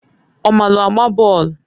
Ọ maalụ agba bọọlụ.